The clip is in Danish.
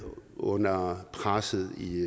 under presset i